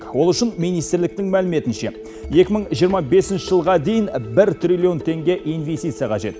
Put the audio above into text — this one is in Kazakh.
ол үшін министрліктің мәліметінше екі мың жиырма бесінші жылға дейін бір триллион теңге инвестиция қажет